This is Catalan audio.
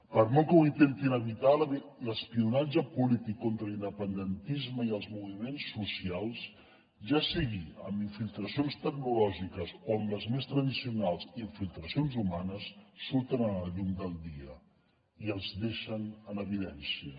per molt que ho intentin evitar l’espionatge polític contra l’independentisme i els moviments socials ja sigui amb infiltracions tecnològiques o amb les més tradicionals infiltracions humanes surten a la llum del dia i els deixen en evidència